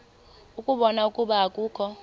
ukubona ukuba akukho